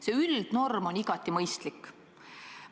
See üldnorm on igati mõistlik.